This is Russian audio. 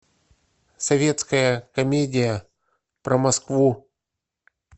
советская комедия про москву